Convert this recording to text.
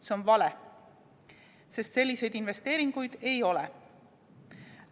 See on vale, sest selliseid investeeringuid ei ole.